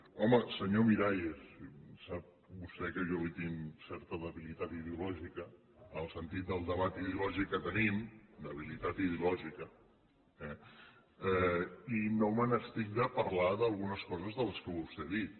home senyor miralles sap vostè que jo li tinc certa debilitat ideològica en el sentit del debat ideològic que tenim debilitat ideològica eh i no me n’estic de parlar d’algunes coses de les que vostè ha dit